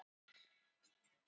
Þetta var djarflega mælt.